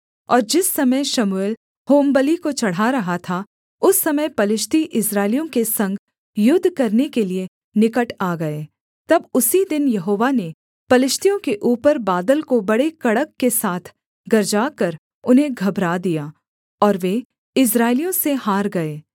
और जिस समय शमूएल होमबलि को चढ़ा रहा था उस समय पलिश्ती इस्राएलियों के संग युद्ध करने के लिये निकट आ गए तब उसी दिन यहोवा ने पलिश्तियों के ऊपर बादल को बड़े कड़क के साथ गरजाकर उन्हें घबरा दिया और वे इस्राएलियों से हार गए